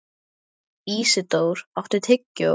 Ísidór, áttu tyggjó?